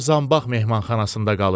O zambax mehmanxanasında qalır.